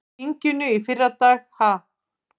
Í þinginu í fyrradag ha?